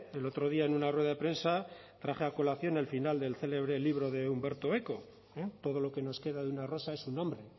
el otro día en una rueda de prensa traje a colación el final de un célebre el libro de umberto eco todo lo que nos queda de una rosa es su nombre